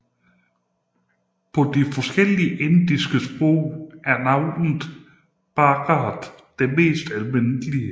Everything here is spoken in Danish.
På de forskellige indiske sprog er navnet Bharat det mest almindelige